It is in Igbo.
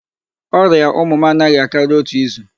Ọrịa ụmụ m anaghị akari otu izu.